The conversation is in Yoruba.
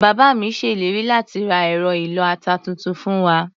Bàbá mi ṣe ìlérí láti ra ẹ̀rọ ìlọ-ata tuntun fún wa.